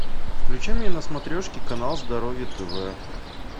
включи мне на смотрешке канал здоровье тв